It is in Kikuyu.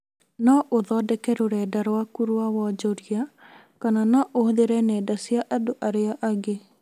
No ũthondeke rũrenda rwaku rwa wonjoria kana no ũhũthĩre nenda cia andũ arĩa angĩ